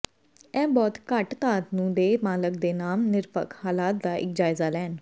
ਇਹ ਬਹੁਤ ਘੱਟ ਦਾਤ ਨੂੰ ਦੇ ਮਾਲਕ ਦੇ ਨਾਮ ਨਿਰਪੱਖ ਹਾਲਾਤ ਦਾ ਜਾਇਜ਼ਾ ਲੈਣ